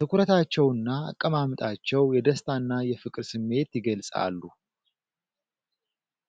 ትኩረታቸውና አቀማመጣቸው የደስታና የፍቅር ስሜት ይገልፃሉ።